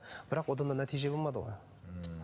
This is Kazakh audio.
бірақ одан да нәтиже болмады ол м